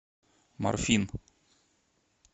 морфин